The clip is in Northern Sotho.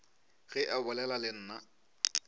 ge a bolela le nna